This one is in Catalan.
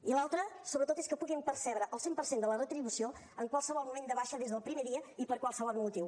i l’altre sobretot és que puguin percebre el cent per cent de la retribució en qualsevol moment de baixa des del primer dia i per qualsevol motiu